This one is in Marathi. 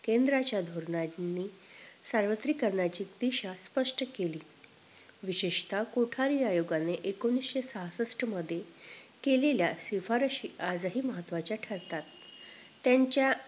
सार्वत्रिकरणाची तीशा स्पष्ट केली विशेषतः कोठारी आयोगाने एकोणीशे सासष्ट मध्ये केलेल्या शिफारशी आजही महत्व्हाच्या ठरतात त्यांच्या